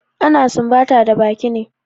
Ana sumbata da baki ne.